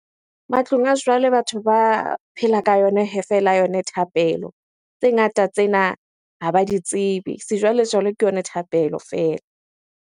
Matlong a jwale batho ba phela ka yona feela yone thapelo, tse ngata tsena ha ba di tsebe. Sejwalejwale ke yona thapelo fela.